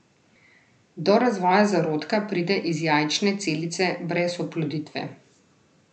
Do razvoja zarodka pride iz jajčne celice brez oploditve.